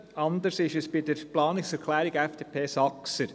Anders ist es bei der Planungserklärung FDP/Saxer.